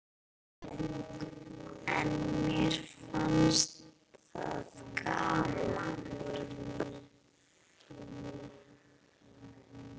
En mér fannst það gaman.